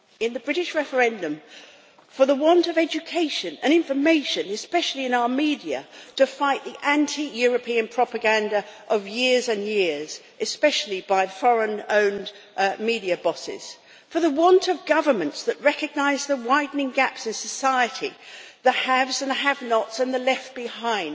The British referendum was lost for the want of education and information especially in our media to fight the anti European propaganda of years and years, especially by foreign-owned media bosses. For the want of governments that recognise the widening gaps in society, the haves and the have-nots and the left behind.